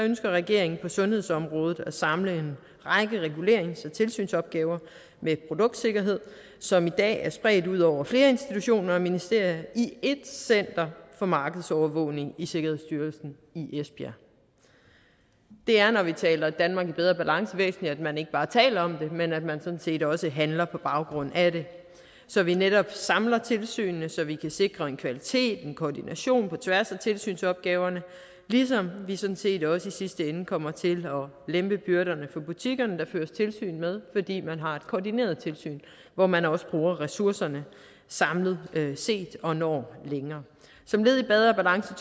ønsker regeringen på sundhedsområdet at samle en række regulerings og tilsynsopgaver med produktsikkerhed som i dag er spredt ud over flere institutioner af ministerier i ét center for markedsovervågning i sikkerhedsstyrelsen i esbjerg det er når vi taler om danmark i bedre balance væsentligt at man ikke bare taler om det men at man sådan set også handler på baggrund af det så vi netop samler tilsynene så vi kan sikre en kvalitet en koordination på tværs af tilsynsopgaverne ligesom vi sådan set også i sidste ende kommer til at lempe byrderne for butikkerne der føres tilsyn med fordi man har et koordineret tilsyn hvor man også bruger ressourcerne samlet set og når længere som led i bedre balance